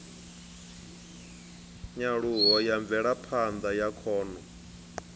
nyaluho ya mvelaphanda ya khono